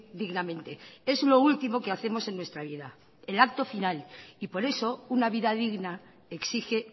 dignamente es lo último que hacemos en nuestra vida el actofinal y por eso una vida digna exige